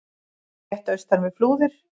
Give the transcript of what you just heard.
rétt austan við Flúðir.